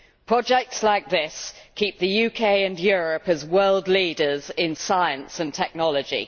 Projects like this keep the UK and Europe as world leaders in science and technology.